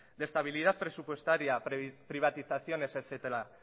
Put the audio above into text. de estabilidad presupuestaria privatizaciones etcétera